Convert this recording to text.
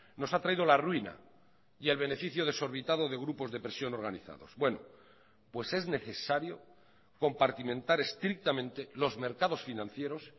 nos ha traído la ruina y el beneficio desorbitado de grupos de presión organizados bueno pues es necesario compartimentar estrictamente los mercados financieros